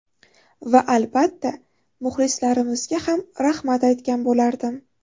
Va albatta, muxlislarimizga ham rahmat aytgan bo‘lardim.